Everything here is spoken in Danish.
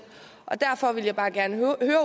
derfor vil jeg bare gerne høre